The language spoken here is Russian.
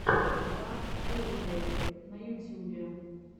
дарт вэйдэер на ютюбе